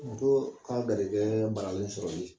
Muso ka garijɛgɛ balalen sɔrɔli